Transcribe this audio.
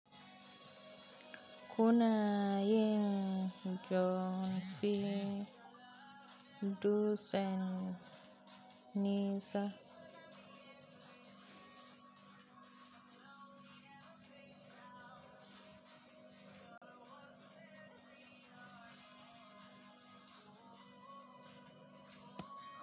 Kuna yin john fi dutsen nisa.